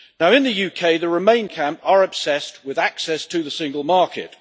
In the UK, the Remain camp are obsessed with access to the single market.